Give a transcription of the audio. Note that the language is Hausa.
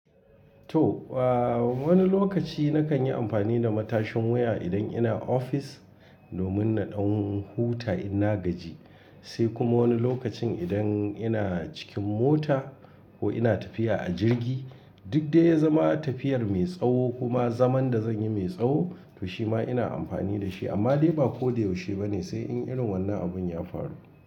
To, ba wani lokaci na kan yi amfani da matashin wuya idan ina ofis domin na ɗan huta in na gaji. Sai kuma wani lokacin idan ina cikin mota ko ina tafiya a jirgi, duk dai zama tafiyar mai tsawo kuma zaman da zan yi mai tsawo, to shima ina amfani da shi. Amma dai ba ko da yaushe ba ne sai in irin wannan abun ya faru.